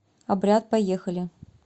обряд поехали